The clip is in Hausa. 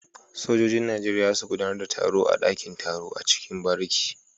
Sojojin nigeria zasu gudAnar da taro a dakin taro na ciki bariki